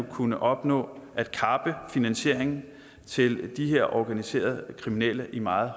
kunne opnå at kappe finansieringen til de her organiserede kriminelle i meget